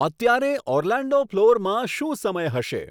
અત્યારે ઓર્લેન્ડો ફ્લોરમાં શું સમય હશે